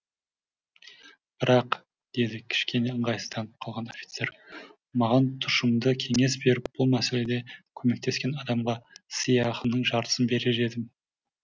бірақ деді кішкене ыңғайсызданып қалған офицер маған тұщымды кеңес беріп бұл мәселеде көмектескен адамға сыйақының жартысын берер едім